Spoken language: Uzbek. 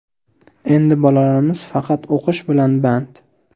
Endi bolalarimiz faqat o‘qish bilan band.